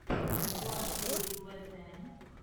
влад девять вэтэ